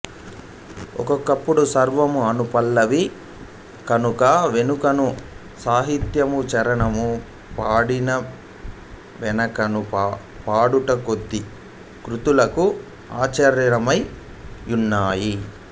ఒక్కొక్కప్పుడు స్వరము అనుపల్లవి కనుక వెనుకను సాహిత్యము చరణము పాడిన వెనకనూ పాడుట కొన్ని కృతులకు ఆచారములై యున్నవి